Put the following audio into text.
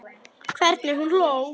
Hvernig hún hló.